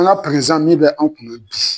An prezan min bɛ an kunna bi.